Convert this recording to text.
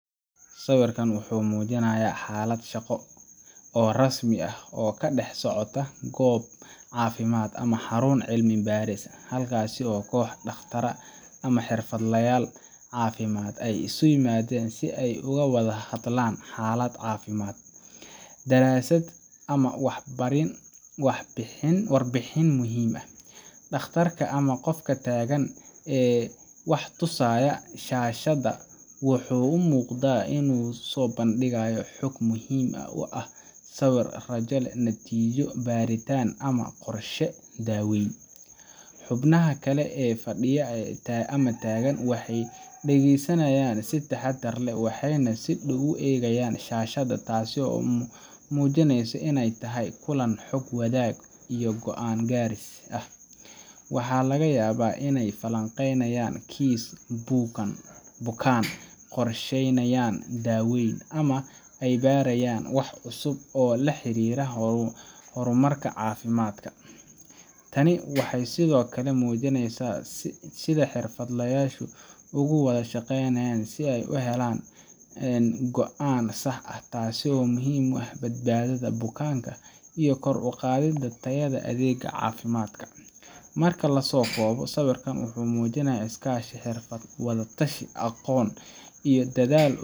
Sawirkan wuxuu muujinayaa xaalad shaqo oo rasmi ah oo ka dhex socota goob caafimaad ama xarun cilmi baaris, halkaas oo koox dhakhaatiir ah ama xirfadlayaal caafimaad ay isu yimaadeen si ay uga wada hadlaan xaalad caafimaad, daraasad, ama warbixin muhiim ah. Dhakhtarka ama qofka taagan ee wax tusaya shaashada wuxuu u muuqdaa inuu soo bandhigayo xog muhiim ah sida sawir raajo, natiijo baaritaan, ama qorshe daaweyn. Xubnaha kale ee fadhiya ama taagan waxay dhagaysanayaan si taxaddar leh, waxayna si dhow u eegayaan shaashada, taas oo muujinaysa in ay tahay kulan xog-wadaag iyo go'aan gaaris ah. Waxaa laga yaabaa inay falanqeynayaan kiis bukaan, qorsheynayaan daaweyn, ama ay baranayaan wax cusub oo la xiriira horumarka caafimaadka. Tani waxay sidoo kale muujinaysaa sida xirfadlayaashu uga wada shaqeeyaan sidii ay u heli lahaayeen go’aan sax ah, taasoo muhiim u ah badbaadada bukaanka iyo kor u qaadidda tayada adeegga caafimaadka. Marka la soo koobo, sawirkan wuxuu muujinayaa iskaashi xirfadeed, wada-tashi aqoon iyo dadaal.